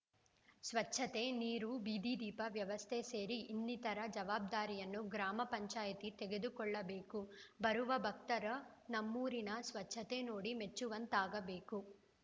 ಸ್ವಚ್ಛತೆ ನೀರು ಬೀದಿ ದೀಪದ ವ್ಯವಸ್ಥೆ ಸೇರಿ ಇನ್ನಿತರ ಜವಾಬ್ದಾರಿಯನ್ನು ಗ್ರಾಮ ಪಂಚಾಯಿತಿ ತೆಗೆದುಕೊಳ್ಳಬೇಕು ಬರುವ ಭಕ್ತರ ನಮ್ಮೂರಿನ ಸ್ವಚ್ಛತೆ ನೋಡಿ ಮೆಚ್ಚುವಂತಾಗಬೇಕು